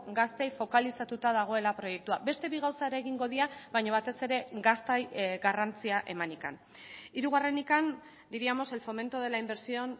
gaztei fokalizatuta dagoela proiektua beste bi gauza ere egingo dira baina batez ere gaztei garrantzia emanik hirugarrenik diríamos el fomento de la inversión